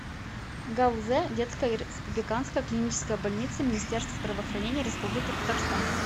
гауз детская республиканская клиническая больница министерства здравоохранения республики татарстан